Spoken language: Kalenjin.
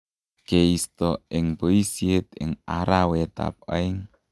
keisto eng boisiet eng arawetab aeng.